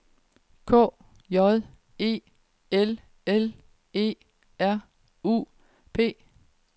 K J E L L E R U P